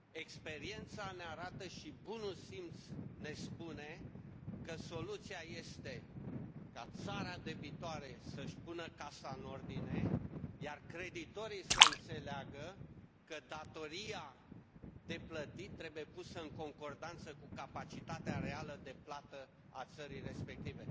Experiența ne arată și bunul simț ne spune că soluția este ca țara debitoare să își pună casa în ordine, iar creditorii să înțeleagă că datoria de plătit trebuie pusă în concordanță cu capacitatea reală de plată a țării respective.